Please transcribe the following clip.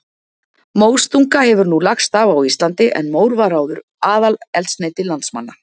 Móstunga hefur nú lagst af á Íslandi en mór var áður aðaleldsneyti landsmanna.